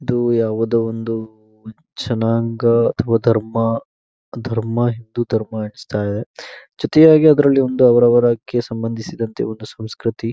ಇದು ಯಾವುದೋ ಒಂದು ಜನಾಂಗ ಅಥವಾ ಧರ್ಮ ಧರ್ಮ ಹಿಂದೂ ಧರ್ಮ ಅಂತ ಎಣಿಸ್ತಾ ಜೊತೆಯಲ್ಲಿ ಅದರಲ್ಲಿ ಅವರವರ ಕ್ಕೆ ಸಂಬಂಧಿಸಿದಂತೆ ಒಂದು ಸಂಸೃತಿ --